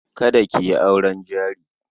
Kada ki yi auren jari.